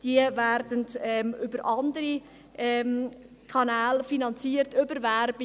Sie werden über andere Kanäle finanziert, über Werbung.